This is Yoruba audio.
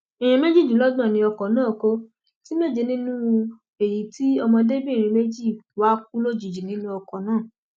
èèyàn méjìdínlọgbọn ni ọkọ náà kó ti méje nínú èyí tí ọmọdébìnrin méjì wá kú lójijì nínú ọkọ náà